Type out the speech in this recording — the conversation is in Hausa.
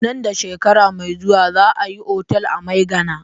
Nan da shekara mai zuwa za a yi otal a Maigana.